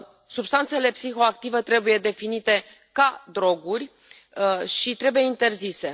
Substanțele psihoactive trebuie definite ca droguri și trebuie interzise.